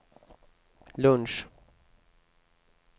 lunch